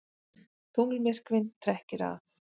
Tunglmyrkvinn trekkir að